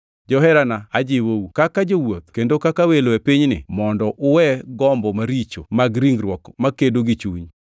Joherana, ajiwou, kaka jowuoth kendo kaka welo e pinyni, mondo uwe gombo maricho mag ringruok makedo gi chunyu.